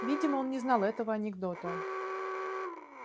видимо он не знал этого анекдота